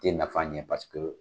Te nafa ɲɛ paseke